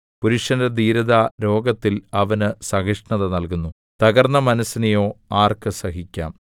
പുരുഷന്റെ ധീരത രോഗത്തിൽ അവന് സഹിഷ്ണത നൽകുന്നു തകർന്ന മനസ്സിനെയോ ആർക്ക് സഹിക്കാം